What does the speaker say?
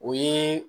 O ye